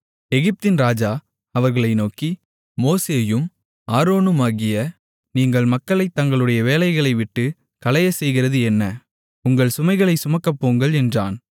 எகிப்தின் ராஜா அவர்களை நோக்கி மோசேயும் ஆரோனுமாகிய நீங்கள் மக்களைத் தங்களுடைய வேலைகளைவிட்டுக் கலையச்செய்கிறது என்ன உங்கள் சுமைகளைச் சுமக்கப்போங்கள் என்றான்